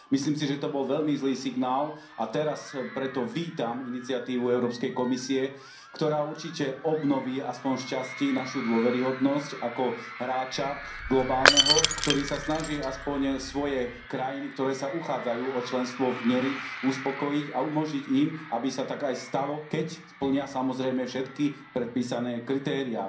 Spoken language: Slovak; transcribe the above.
Myslím si, že to bol veľmi zlý signál, a teraz preto vítam iniciatívu Európskej komisie, ktorá určite obnoví aspoň z časti našu dôveryhodnosť ako globálneho hráča, ktorý sa snaží aspoň svoje krajiny, ktoré sa uchádzajú o členstvo v nej uspokojiť a umožniť im, aby sa tak aj stalo, keď splnia samozrejme všetky predpísané kritériá.